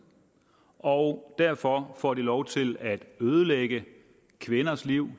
og derfor får de lov til at ødelægge kvinders liv